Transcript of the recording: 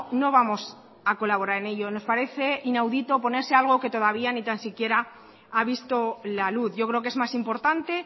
no vamos a colaborar en ello nos parece inaudito oponerse algo que todavía ni tan siquiera ha visto la luz yo creo que es más importante